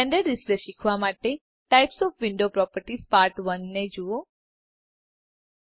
render display શીખવા માટે types of windows properties part 1 ને જુઓ સરફેસ પર પાછા જાઓ